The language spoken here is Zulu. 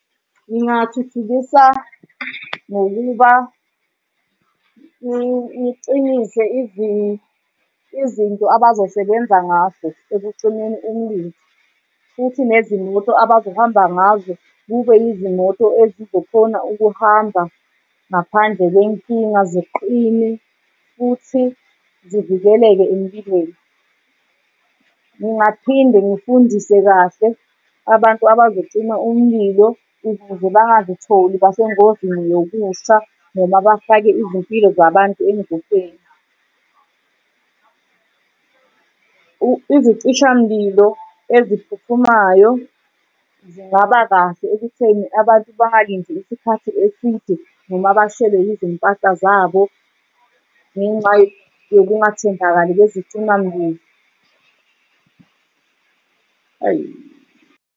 Ngingathuthukisa ngokuba ngicinise izinto abazosebenza ngazo ekucimeni umlimi. Futhi nezimoto abazohamba ngazo kube izimoto ezizokhona ukuhamba ngaphandle kwenkinga, ziqine futhi zivikeleke empilweni. Ngingaphinde ngifundise kahle abantu abazocima umlilo ukuze bangakutholi, basengozini yokufa noma bafake izimpilo zabantu engcupheni. Izicishamlilo eziphuthumayo zingaba kahle ekutheni abantu bangalindi isikhathi eside noma bashelwe izimpahla zabo ngenxa yokungathembakali kwezicimamlilo.